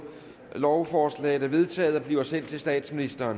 lovforslaget er vedtaget blive sendt til statsministeren